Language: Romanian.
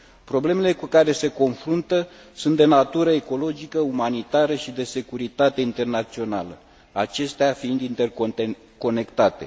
Problemele cu care se confruntă sunt de natură ecologică, umanitară și de securitate internațională, acestea fiind interconectate.